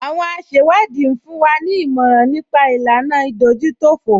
Àwọn asẹ̀wádìí ń fún wa ní ìmọ̀ràn nípa ìlànà ìdójútòfò